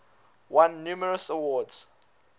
won numerous awards